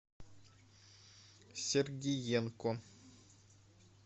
сергиенко